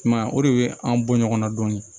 I m'a ye o de bɛ an bɔ ɲɔgɔn na dɔɔnin